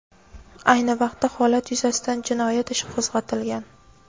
Ayni vaqtda holat yuzasidan jinoyat ishi qo‘zg‘atilgan.